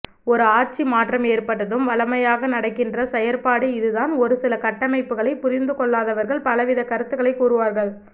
ஒரு ஆட்சி மாற்றம் ஏற்பட்டதும் வழமையாக நடக்கின்ற செயற்பாடு இதுதான் ஒரு சில கட்டமைப்புக்களைப் புரிந்துகொள்ளாதவர்கள் பலவித கருத்துக்களைக் கூறுவார்கள்